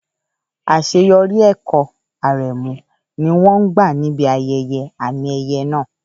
Àṣeyọrí ẹ̀kọ́ Aremu ni wọ́n gbà níbi ayẹyẹ àmì-ẹ̀yẹ náà.